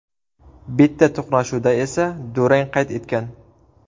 Bitta to‘qnashuvda esa durang qayd etgan.